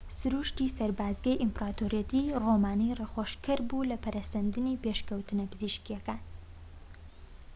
سروشتی سەربازگەری ئیمپراتۆریەتی ڕۆمانی ڕێخۆشکەر بووە لە پەرەسەندنی پێشکەوتنە پزیشکییەکان